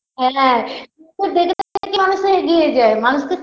হ্যাঁ মানুষে এগিয়ে যায় মানুষ তো